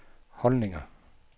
holdninger